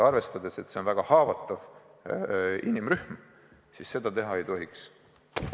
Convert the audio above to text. Arvestades, et see on väga haavatav inimrühm, seda teha ei tohiks.